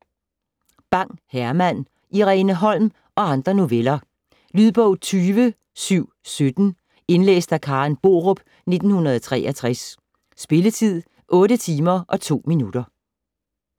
Bang, Herman: Irene Holm og andre noveller Lydbog 20717 Indlæst af Karen Borup, 1963. Spilletid: 8 timer, 2 minutter.